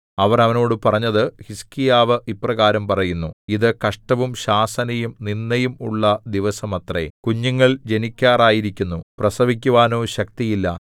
അവർ അവനോട് പറഞ്ഞത് ഹിസ്കീയാവ് ഇപ്രകാരം പറയുന്നു ഇതു കഷ്ടവും ശാസനയും നിന്ദയും ഉള്ള ദിവസമത്രേ കുഞ്ഞുങ്ങൾ ജനിക്കാറായിരിക്കുന്നു പ്രസവിക്കുവാനോ ശക്തിയില്ല